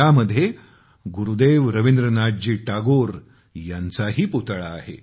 यामध्ये गुरुदेव रवींद्रनाथजी टागोर यांचाही पुतळा आहे